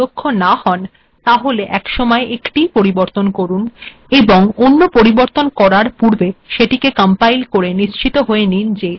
আপিন যিদ েলেটেক্ িবষেয় সুদক্ষ না হন তাহেল একসময় একিটই পিরবর্তন করুন এবং অন্য পিরবর্তন করার পূর্েব েসিটেক কম্পাইল্ কের িনশ্িচত হযে় িনন েয েসিট সিঠকভােব কাজ করেছ